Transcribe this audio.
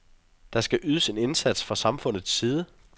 Der skal ydes en indsats fra samfundets side.